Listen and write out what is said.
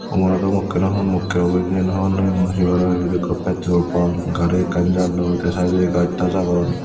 kumargatdo mukke naa honmukke obo cian hobor nw pem mui sibot petrol pump gari ekkan jarloi te sidedodi gaj taj agon.